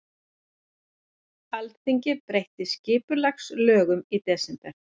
Alþingi breytti skipulagslögum í desember